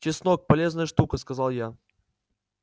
чеснок полезная штука сказал я